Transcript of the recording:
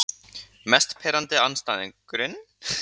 Mest pirrandi andstæðingurinn?